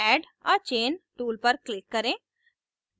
add a chain tool पर click करें